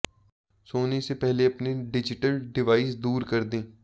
सोने से पहले अपने डिजिटल डिवाइस दूर कर दें